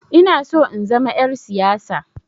Inaso in zama 'yar siyasa.